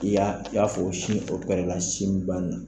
I y'a, i y'a fɔ o sin sin ba ni